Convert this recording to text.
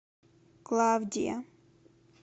клавдия